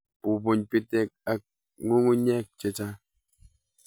Bubuny bitek ak ng'ung'unyek chechang'.